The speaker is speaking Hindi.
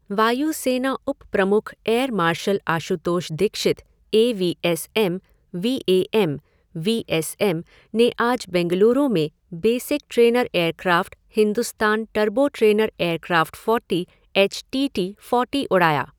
वायु सेना उप प्रमुख air marshal Ashutosh Dixit A V S M, V A M, V S M, ने आज बेंगलुरु में basic trainer aircraft Hindustan turbo trainer aircraft forty H T T forty उड़ाया।